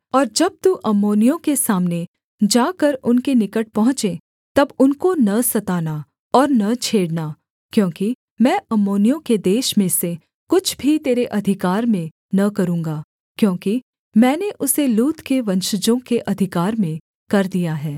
और जब तू अम्मोनियों के सामने जाकर उनके निकट पहुँचे तब उनको न सताना और न छेड़ना क्योंकि मैं अम्मोनियों के देश में से कुछ भी तेरे अधिकार में न करूँगा क्योंकि मैंने उसे लूत के वंशजों के अधिकार में कर दिया है